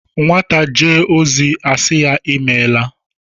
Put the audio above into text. Nwata jee ozi a sị ya "Imeela"